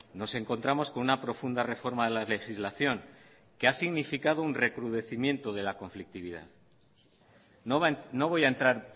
nos encontramos con una profunda reforma de la legislación que ha significado un recrudecimiento de la conflictividad no voy a entrar